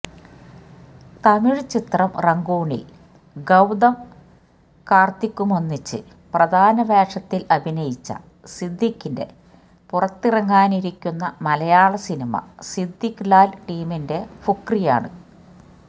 തമിഴ് ചിത്രം റങ്കൂണില് ഗൌതം കാര്ത്തിക്കുമൊന്നിച്ച് പ്രധാന വേഷത്തില് അഭിനയിച്ച സിദ്ധിഖിന്െറ പുറത്തിറങ്ങാനിരിക്കുന്ന മലയാളസിനിമ സിദ്ധിഖ് ലാല് ടീമിന്റെ ഫുക്രിയാണ്